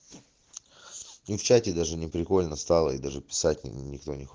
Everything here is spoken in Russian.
ну в чате даже не прикольно стало и даже писать никто не хоч